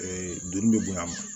duuru bɛ bonya a ma